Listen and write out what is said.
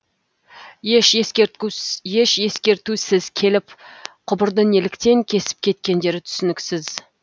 еш ескертусіз келіп құбырды неліктен кесіп кеткендері түсініксіз